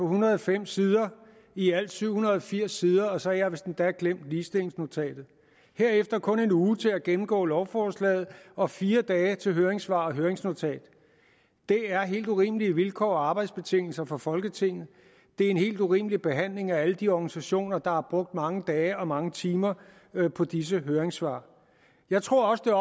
hundrede og fem sider i alt syv hundrede og firs sider og så har jeg vist endda glemt ligestillingsnotatet herefter kun en uge til at gennemgå lovforslaget og fire dage til høringssvar og høringsnotat det er helt urimelige vilkår og arbejdsbetingelser for folketinget det er en helt urimelig behandling af alle de organisationer der har brugt mange dage og mange timer på disse høringssvar jeg tror også